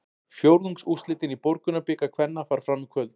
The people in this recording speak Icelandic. Fjórðungsúrslitin í Borgunarbikar kvenna fara fram í kvöld.